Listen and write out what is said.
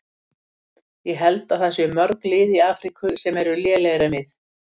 Ég held að það séu mörg lið í Afríku sem eru lélegri en við.